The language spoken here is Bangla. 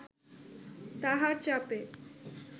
তাহার চাপে